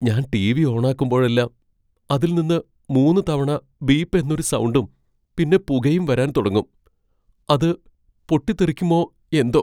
ഞാൻ ടി.വി. ഓണാക്കുമ്പോഴെല്ലാം അതിൽ നിന്ന് മൂന്ന് തവണ ബീപ്പ് എന്നൊരു സൗണ്ടും, പിന്നെ പുകയും വരാൻ തുടങ്ങും. അത് പൊട്ടിത്തെറിക്കുമോ എന്തോ!